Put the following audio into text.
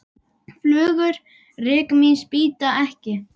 Flugur rykmýs bíta ekki.